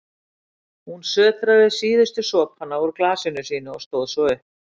Hún sötraði síðustu sopana úr glasinu sínu og stóð svo upp.